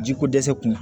Jiko dɛsɛ kun